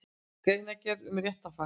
Greinargerð um réttarfar.